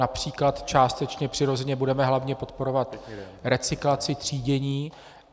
například částečně přirozeně budeme hlavně podporovat recyklaci, třídění.